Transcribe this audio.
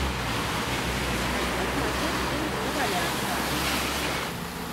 хочу смотреть фильм неваляшка